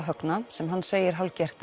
Högna sem hann segir hálfgert